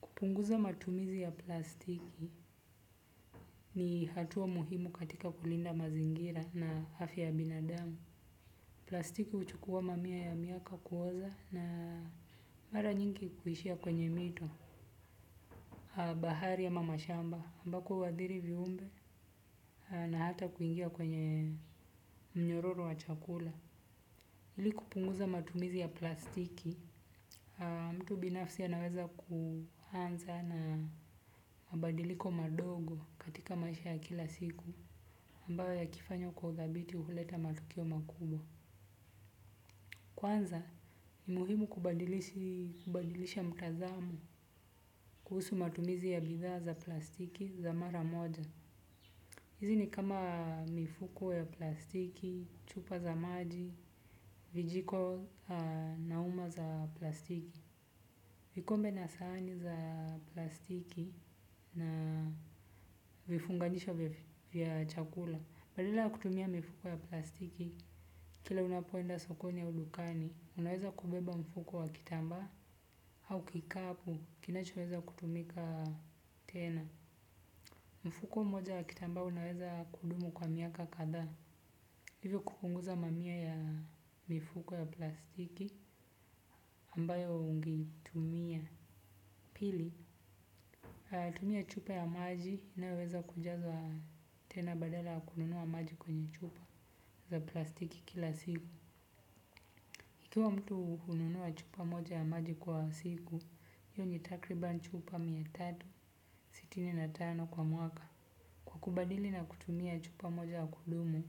Kupunguza matumizi ya plastiki ni hatuwa muhimu katika kulinda mazingira na hafya ya binadamu. Plastiki uchukua mamiya ya miaka kuoza na mara nyingi kuhishia kwenye mito. Bahari ama mashamba ambako huadhiri viumbe na hata kuingia kwenye mnyororo wa chakula. Hili kupunguza matumizi ya plastiki, mtu binafsi anaweza kuhanza na mabadiliko madogo katika maisha ya kila siku ambayo yakifanywa kwa udhabiti huleta matukio makubwa. Kwanza, ni muhimu kubadilisha mtazamo kuhusu matumizi ya bidhaa za plastiki za mara moja. Hizi ni kama mifuko ya plastiki, chupa za maji, vijiko na uma za plastiki. Vikombe na saani za plastiki na vifunganisho vya chakula. Badala ya kutumia mifuko ya plastiki, kila unapoenda sokoni au dukani, unaweza kubeba mfuko wa kitambaa au kikapu, kinachoweza kutumika tena. Mfuko mmoja wa kitambaa unaweza kudumu kwa miaka katha. Hivyo kupunguza mamiya ya mifuko ya plastiki, ambayo ungetumia. Pili, tumia chupa ya maji inayoweza kujaza tena badala ya kununua maji kwenye chupa za plastiki kila siku. Ikiwa mtu ununuwa chupa moja ya maji kwa siku, hio ni takriban chupa mia tatu na sitini na tano kwa mwaka. Kukubadili na kutumia chupa moja ya kudumu,